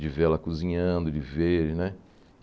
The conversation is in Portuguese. De vê-la cozinhando, de ver, né?